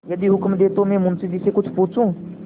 यदि हुक्म दें तो मैं मुंशी जी से कुछ पूछूँ